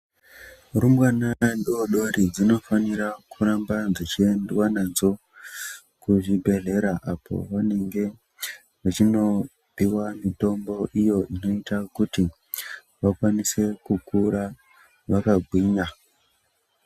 Rumbwana dodori dzinofanira kuramba dziendwa nadzo kuzvibhendlera apo vanenge vachinopuwa mitombo iyo inoita kuti vakwanise kukura vakagwinya.